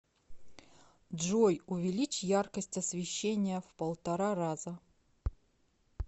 джой увеличь яркость освещения в полтора раза